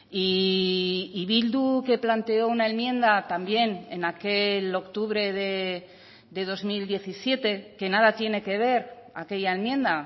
y bildu que planteó una enmienda también en aquel octubre de dos mil diecisiete que nada tiene que ver aquella enmienda